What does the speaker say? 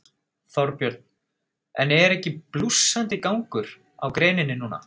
Þorbjörn: En er ekki blússandi gangur á greininni núna?